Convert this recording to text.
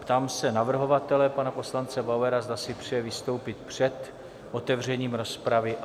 Ptám se navrhovatele pana poslance Bauera, zda si přeje vystoupit před otevřením rozpravy?